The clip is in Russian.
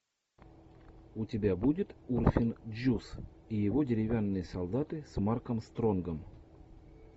у тебя будет урфин джюс и его деревянные солдаты с марком стронгом